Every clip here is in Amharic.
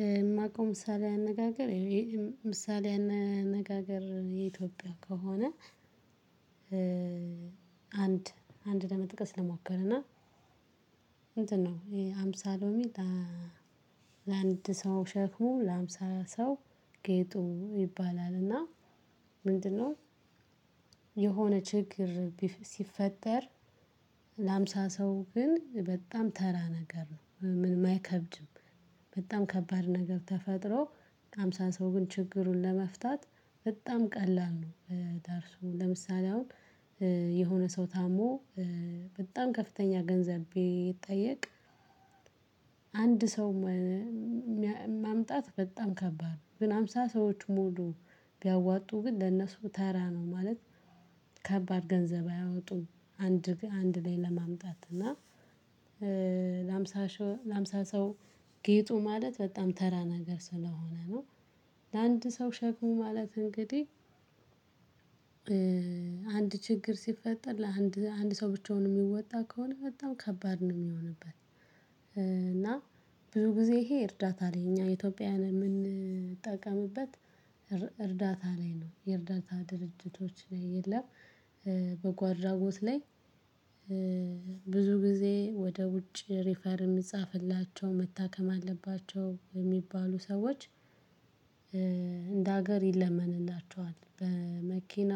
የማውቀው ምሳሌ አነጋገር ምሳሌ አነጋገር የኢትዮጵያ ከሆነ አንድ አንድ ለመጥቀስ ለመዋቀር እና ነው ሃምሳ ሊሚ ለአንድ ሰው ሸክሙ ለሃምሳ ሰው ጌጡ ይባላልና ምንድነው የሆነ ችግር ሲፈጠር ለሀምሳ ሰው ግን በጣም ተራ ነገር ነው የማይከብድም በጣም ከባድ ነገር ተፈጥሮ ሃምሳ ሰው ግን ችግሩን ለመፍታት በጣም ቀላል ነው ለምሳሌ አሁን የሆነ ሰው ታሞ በጣም ከፍተኛ ገንዘብ ቢጠየቅ ይጠየቅ አንድ ሰው ማምጣት በጣም ከባድ ነው ግን ሃምሳ ሙሉ ቢያወጡ ግን ለነሱ ተራ ነው ማለት ከባድ ገንዘብ አያወጡም አንድ አንድ ላይ ለማምጣት እና ለሃምሳ ለሃምሳ ሰው ጌጡ ማለት በጣም ተራ ነገር ስለሆነ ነው ለአንድ ሰው ሸኩም ማለት እንግዲህ አንድ ችግር ሲፈጠር ለአንድ አንድ ሰው ብቻውን የሚወጣ ከሆነ በጣም ከባድ ነው የሚሆንበት እና ብዙ ጊዜ ይሄ እርዳታ አለኝ እኛ ኢትዮጵያውያን የምንጠቀምበት እርዳታ ላይ ነው የእርዳታ ድርጅቶች ላይ የለም በጎ አድራጎት ላይ ብዙ ጊዜ ወደ ውጭ ሪፈር የሚጻፍላቸው መታከም አለባቸው የሚባሉ ሰዎች እንደ ሀገር ይለመንላቸዋል በመኪና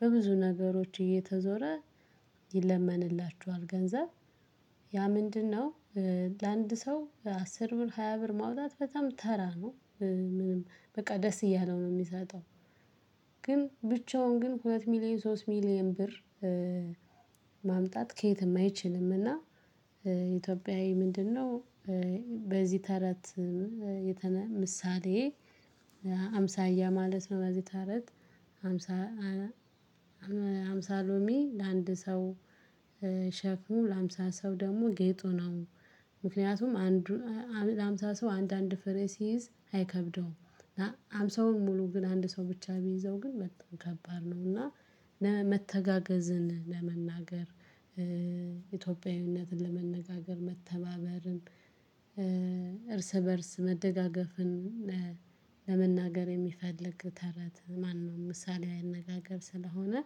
በብዙ ነገሮች እየተዞረ ይለመንላችኋል ገንዘብ ያ ምንድነው ለአንድ ሰው አስር ብር ሃያ ብር ማውጣት በጣም ተራ ነው ምንም በቃ ደስ እያለው ነው የሚሰጠው ግን ብቻውን ግን ሁለት ሚሊየን ሶስት ሚሊየን ብር ማምጣት ከየት የማይችልም እና ኢትዮጵያዊ ምንድነው በዚህ ተረት የተነ ምሳሌ አምሳያ ማለት ነው በዚህ ተረት አምሳ ሃምሳ ሎሚ ለአንድ ሰው ሸክሙ ለሀምሳ ሰው ደግሞ ጌጡ ነው። ምክንያቱም አንዱ ለሀምሳ ሰው አንድ አንድ ፈሬ ሲይዝ አይከብደውም እና ሀምሳውን ሙሉ ግን አንድ ሰው ብቻ ቢይዘው ግን በጣም ከባድ ነው እና መተጋገዝን ለመናገር ኢትዮጵያዊነትን ለመነጋገር መተባበርም እርስ በእርስ መደጋገፍን ለመናገር የሚፈልግ ተረት ማነው ምሳሌው ያነጋገር ስለሆነ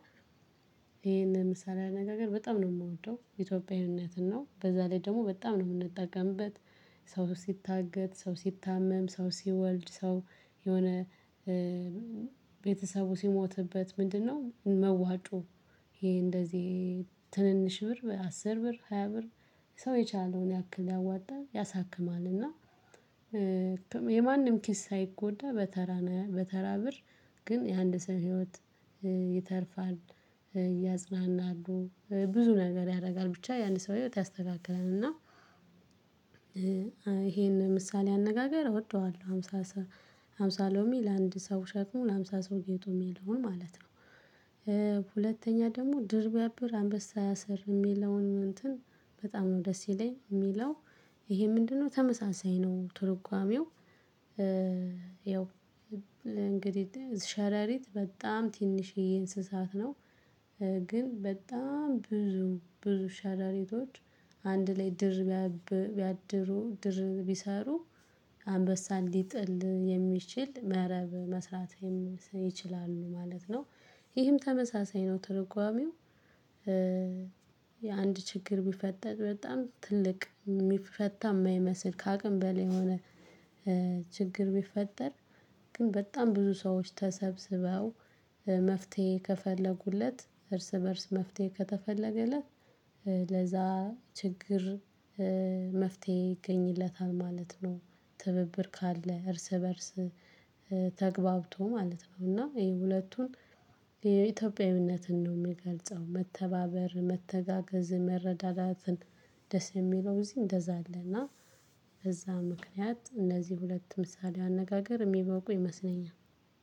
ይሄን ምሳሌ አነጋገር በጣም ነው የምወደው ኢትዮጵያዊነትን ነው በዛ ላይ ደግሞ በጣም ነው የምንጠቀምበት። ሰው ሲታገት ሰው ሲታመም ሰው ሲወልድ ሰው የሆነ ቤተሰቡ ሲሞትበት ምንድነው መዋጩ ይሄ እንደዚህ ትንንሽ ብር አስር ብር ሃያ ብር ሰው የቻለውን ያክል ያዋጣ ያሳክማል እና የማንም ኪስ ሳይጎዳ በተራ በተራ ብር ግን የአንድ ሰው ህይወት ይተርፋል። ያጽናናሉ ብዙ ነገር ያደርጋል ብቻ ያን ሰው ህይወት ያስተካክላል እና ይሄን ምሳሌ አነጋገር እወደዋለሁ ሃምሳ ሃምሳ ሎሚ ለአንድ ሰው ሸክሙን ሃምሳ ሰው ጌጦም የለውም ማለት ነው። ሁለተኛ ደግሞ ድር ቢያብር አንበሳ ያሰር የሚለውን እንትን በጣም ነው ደስ ይለኛል የሚለው ይሄ ምንድነው ተመሳሳይ ነው ትርጓሜው ያው እንግዲህ ሸረሪት በጣም ትንሽ እንስሳት ነው። ግን በጣም ብዙ ብዙ ሻረሪቶች አንድ ላይ ድር ቢያድሩ ድር ቢሰሩ አንበሳ ልጥል የሚችል መረብ መስራትም ይችላሉ ማለት ነው። ይህም ተመሳሳይ ነው ትርጓሜው። የአንድ ችግር ቢፈጠጥ በጣም ትልቅ የሚፈታ የማይመስል ከአቅም በል የሆነ ችግር ቢፈጠር ግን በጣም ብዙ ሰዎች ተሰብስበው መፍትሄ ከፈለጉለት እርስ በእርስ መፍትሄ ከተፈለገለት ለዛ ችግር መፍትሄ ይገኝለታል ማለት ነው ትብብር ካለ እርስ በእርስ ማለት ነው እና ይሄ ሁለቱን የኢትዮጵያዊነትን ነው የሚገልጸው መተባበር መተጋገዝ መረዳዳትን ደስ የሚለው እዚህ እንደዛ አለ እና በዛ ምክንያት እነዚህ ሁለት ምሳሌ አነጋገር የሚበቁ ይመስለኛል